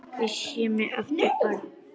Ég sé mig aftur barn.